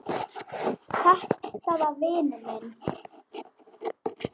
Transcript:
Þetta var vinur minn.